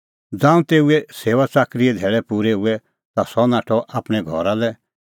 ज़ांऊं तेऊए सेऊआच़ाकरीए धैल़ै पूरै हुऐ ता सह नाठअ आपणैं घरा लै